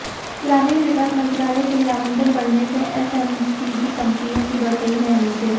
ग्रामीण विकास मंत्रालय के लिए आवंटन बढऩे से एफएमसीजी कंपनियों की बढ़ गई हैं उम्मीदें